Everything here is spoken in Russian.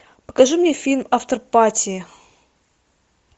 покажи мне фильм афтерпати